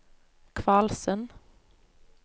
Kvalsund